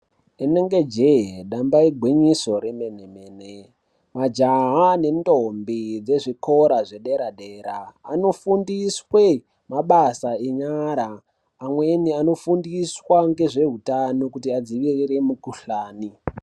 Inenge jehe damba igwinyiso remene mene majaha nentombi dzezvikora zvedera dera anofundiswe mabasa enyara amweni anofundiswa ngezveutano kuti adzivirire mikhuhlani.